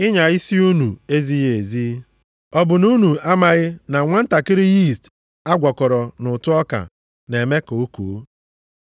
Ịnya isi unu ezighị ezi. Ọ bụ unu amaghị na nwantakịrị yiist a gwakọrọ nʼụtụ ọka na-eme ka o koo?